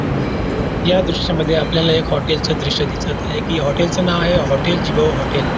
हम्म या दृश्य मध्ये आपल्याला एक हॉटेल च दृश दिसत आहे की या हॉटेल च नाव आहे. हॉटेल .